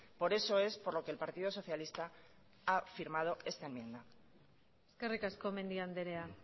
por eso es por lo que el partido socialista ha firmado esta enmienda eskerrik asko mendia andrea